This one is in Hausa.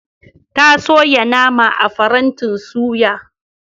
Ta soya nama a farantin suya.